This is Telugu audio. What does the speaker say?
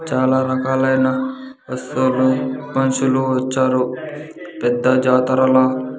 చాల రకాలైన వస్తువులు మనుషులు వచ్చారు పెద్ద జాతరల.